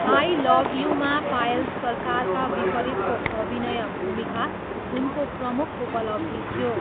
I love you मा पायल सरकारका विपरीतको अभिनय भूमिका उनको प्रमुख उपलब्धि थियो।